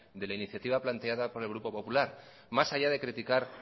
de la iniciativa planteada por el grupo popular más allá de criticar